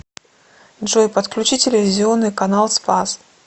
джой подключи телевизионный канал спас